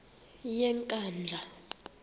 yenkandla